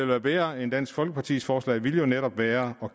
være bedre end dansk folkepartis forslag ville jo netop være at